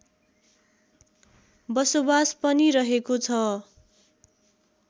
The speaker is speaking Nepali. बसोबास पनि रहेको छ